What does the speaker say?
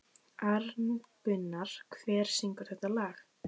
Arngunnur, hver syngur þetta lag?